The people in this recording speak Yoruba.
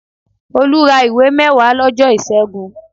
Olú ra ìwé mẹ́wàá lọ́jọ́ ìṣẹ́gùn